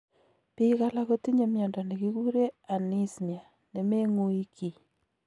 Biik alak kotinye miondo nekikuree anismia nemeng'ui kii